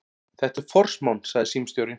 Þetta er forsmán, sagði símstjórinn.